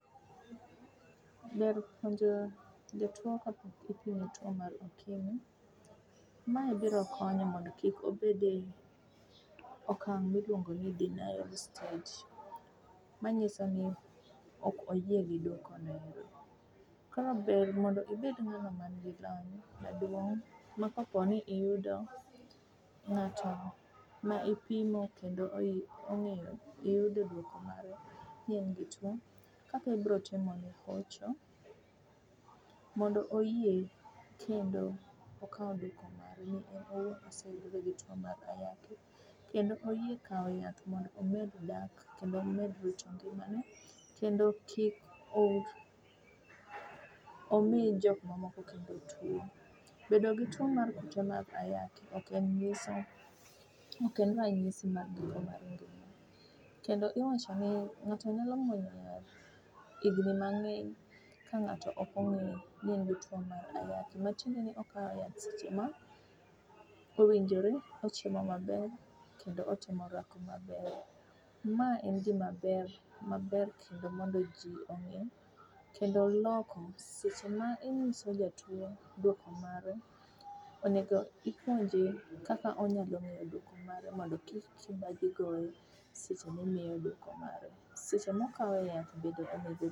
Ber puonjo jatuwo kapok ipime tuwo mar okimi. Mae biro konyo mondo kik obed e okang' miluongo ni denial stage manyiso ni ok oyie gi dwokono. Kaber to mondo ibed ng'ano manigi lony ma koponi iyudo ng'ato ma ipimo kendo iyude dwoko mare ni en gi tuwo, Kaka ibiro timone hocho, mondo oyie kendo okaw dwoko mare ni en owuon oseyude gi tuwo mar ayaki, kendo oyie kawo yath mondo omed dak kendo omed rito ngimane, kendo kik omi jok mamoko kendo tuwo. Bedo gi tuwo mar ayaki ok en ranyisi mar giko mar ngima kendo iwachoni ng'ato nyalo muonyo yath ka ng'ato ok ong'eyo ni en gi tuwo mar ayaki, matiende ni okawo yath seche ma owinjore, ochiemo maber kendo otimo orako maber. Ma en gimaber, maber kendo mondo ji ong'e kendo loko seche ma inyiso jatuwo dwoko mare, onego ipenje kaka onyalo ng'eyo dwoko mare mondo kik kibaji goye seche mimiye dwoko mare. Seche mokawo yath bende.